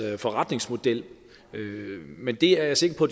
forretningsmodel men det er jeg sikker på